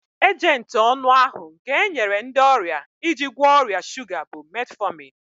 Ejenti ọnụ ahu nke enyere ndị ọrịa iji gwọọ ọrịa shuga bụ Metfọmin